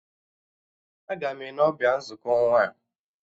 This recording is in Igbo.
Agam Ene ọbịa nzukọ ọnwa a